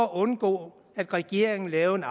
at undgå at regeringen lavede